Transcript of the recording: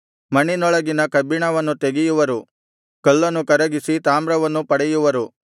ಮಣ್ಣಿನೊಳಗಿಂದ ಕಬ್ಬಿಣವನ್ನು ತೆಗೆಯುವರು ಕಲ್ಲನ್ನು ಕರಗಿಸಿ ತಾಮ್ರವನ್ನು ಪಡೆಯುವರು